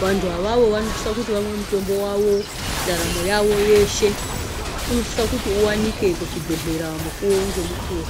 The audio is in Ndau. Vantwawawo wanofisa kuti vamwe mitombo wawo ndaramo yawo yeshe. Unosisa kuti uwanike muzvibhedhlera mukuwo ngemukuwo.